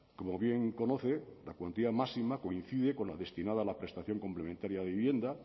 como bien conoce la cuantía máxima coincide con la destinada a la prestación complementaria de vivienda